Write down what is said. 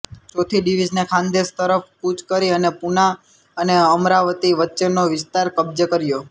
ચોથી ડિવિઝને ખાનદેશ તરફ કૂચ કરી અને પુના અને અમરાવતી વચ્ચેનો વિસ્તાર કબ્જે કર્યો